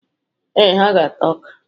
Ee, ha ga-ata ọka.